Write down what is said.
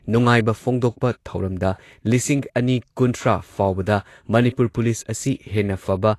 ꯅꯨꯡꯉꯥꯏꯕ ꯐꯣꯡꯗꯣꯛꯄ ꯊꯧꯔꯝꯗ ꯂꯤꯁꯤꯡ ꯑꯅꯤ ꯀꯨꯟꯊ꯭ꯔꯥ ꯐꯥꯎꯕꯗ ꯃꯅꯤꯄꯨꯔ ꯄꯨꯂꯤꯁ ꯑꯁꯤ ꯍꯦꯟꯅ ꯐꯕ